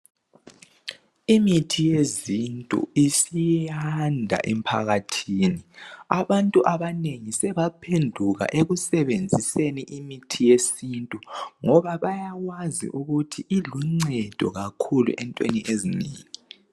Imithi yezintu isiyanda emphakathini abantu abanengi sebaphenduka ekusebenziseni imithi yesintu ngoba bayawazi ukuthi iluncedo kakhulu entweni ezinengi.